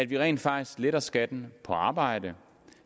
vi rent faktisk letter skatten på arbejde